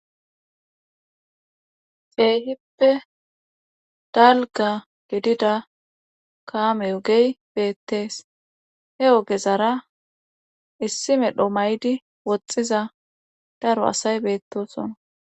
Keehippe dalgga gidida kaame ogey beettees he ogezara issi medho mayidi woxxiza daro asay beettoosona.